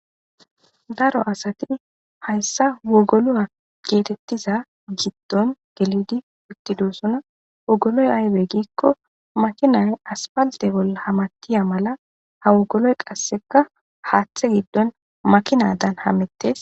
Daro assati hayssa wogoluwa geetetiza giddon gelidi uttidosona wogoloy aybe giiko makinay asppalte bolla hametiya mala ha wogoloy qasseka haaththe giddon makinaadan hametees.